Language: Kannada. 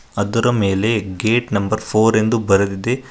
ಅದರ ಮೇಲೆ ಗೇಟ್ ನಂಬರ್ ಫೋರ್ ಎಂದು ಬರೆದಿದೆ.